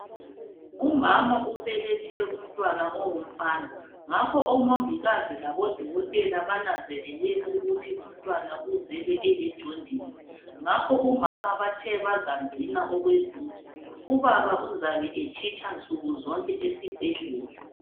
Umama ubelethe umntwana ongumfana ngakho omongikazi labodokotela bananzelele ukuthi umntwana uzelwe elejondisi ngakho umama bathe bazamgcina okweviki, ubaba uzabe etshitsha nsuku zonke esibhedlela.